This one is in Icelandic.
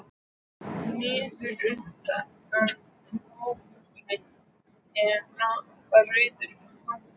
Niður undan prjónahúfunni lafa rauðar hártjásur.